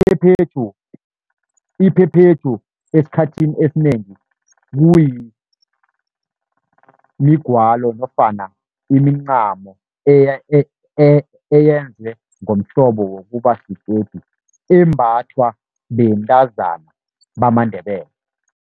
Iphephethu, iphephethu esikhathini esinengi kumigwalo nofana imincamo, eyenzwe ngomhlobo wokuba sikhede, embathwa bentazana bamaNdebele.